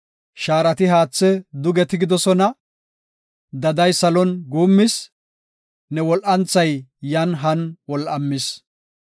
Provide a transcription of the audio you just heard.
Shaarati haathe duge tigidosona; daday salon guummis; ne wol7anthay yan han wol7amis.